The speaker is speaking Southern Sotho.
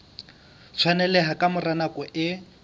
tshwaneleha ka mora nako e